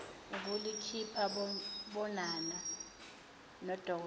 ulikhipha bonana dnodokotela